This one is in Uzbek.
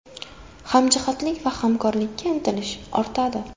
Hamjihatlik va hamkorlikka intilish ortadi.